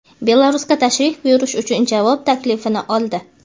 Belarusga tashrif buyurish uchun javob taklifini oldi.